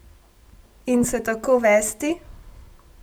In se tako vesti?